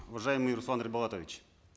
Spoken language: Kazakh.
уважаемый руслан ерболатович